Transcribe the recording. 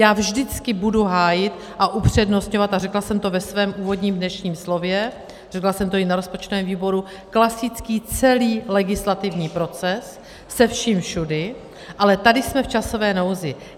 Já vždycky budu hájit a upřednostňovat - a řekla jsem to ve svém úvodním dnešním slově, řekla jsem to i na rozpočtovém výboru - klasický celý legislativní proces se vším všudy, ale tady jsme v časové nouzi.